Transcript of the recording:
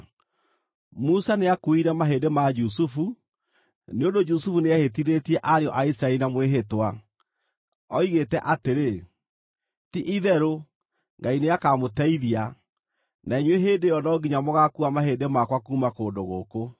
Musa nĩakuuire mahĩndĩ ma Jusufu, nĩ ũndũ Jusufu nĩehĩtithĩtie ariũ a Isiraeli na mwĩhĩtwa. Oigĩte atĩrĩ, “Ti-itherũ Ngai nĩakamũteithia, na inyuĩ hĩndĩ ĩyo no nginya mũgaakuua mahĩndĩ makwa kuuma kũndũ gũkũ.”